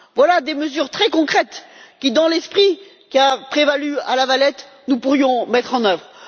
Voilà des mesures très concrètes que, dans l'esprit qui a prévalu à La Valette, nous pourrions mettre en œuvre.